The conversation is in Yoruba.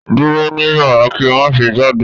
Duro ni yara ki o ma ṣe jade